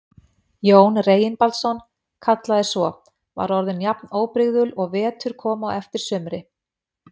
Jón Reginbaldsson kallaði svo, var orðin jafn óbrigðul og vetur kom á eftir sumri.